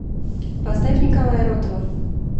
поставь николая ротова